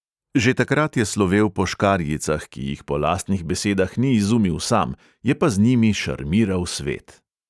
Že takrat je slovel po škarjicah, ki jih po lastnih besedah ni izumil sam, je pa z njimi šarmiral svet.